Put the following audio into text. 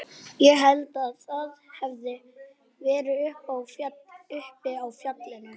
Ég held að það hafi verið uppi á fjallinu.